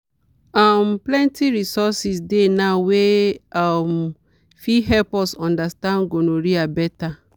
um plenty resources dey now wey um fit help us understand gonorrhea better.